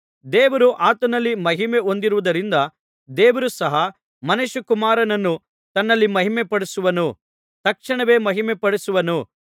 ದೇವರು ಆತನಲ್ಲಿ ಮಹಿಮೆ ಹೊಂದಿರುವುದರಿಂದ ದೇವರು ಸಹ ಮನುಷ್ಯಕುಮಾರನನ್ನು ತನ್ನಲ್ಲಿ ಮಹಿಮೆಪಡಿಸುವನು ತಕ್ಷಣವೇ ಮಹಿಮೆಪಡಿಸುವನು